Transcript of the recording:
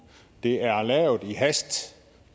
det er lavet i hast